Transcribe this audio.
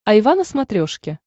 айва на смотрешке